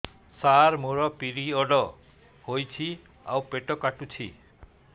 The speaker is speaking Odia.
ସାର ମୋର ପିରିଅଡ଼ ହେଇଚି ଆଉ ପେଟ କାଟୁଛି